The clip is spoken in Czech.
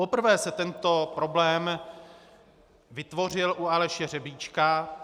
Poprvé se tento problém vytvořil u Aleše Hřebíčka.